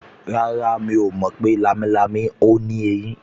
Rárá, mi ò mọ̀ pé lámilámi ò ní eyín